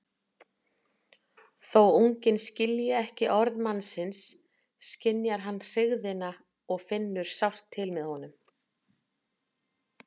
Þó unginn skilji ekki orð mannsins skynjar hann hryggðina og finnur sárt til með honum.